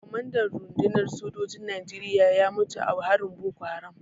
Kwamandan rundunar sojin Najeriya ya mutu a harin Boko Haram.